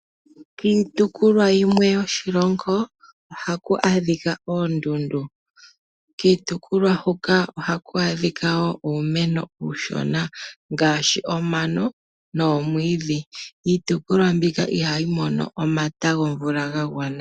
Kiitopolwa yimwe yoshilongo ohaku adhika oondundu. Kiitopolwa huka ohaku adhika wo uumeno uushona ngaashi omano noomwiidhi. Iitopolwa mbika ihayi mono omata gomvula ga gwana.